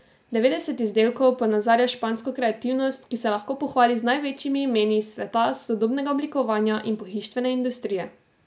Devetdeset izdelkov ponazarja špansko kreativnost, ki se lahko pohvali z največjimi imeni iz sveta sodobnega oblikovanja in pohištvene industrije.